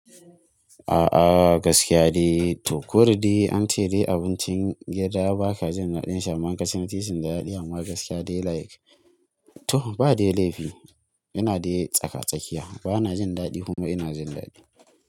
A'a gaskiya dai to koda dai an ce dai abincin gida ba ka jin daɗin shi amman in kaci na titin da daɗi amma gaskiya dai like to ba dai laifi. Ina dai tsaka-tsakiya bana jin daɗi kuma ina jin daɗi.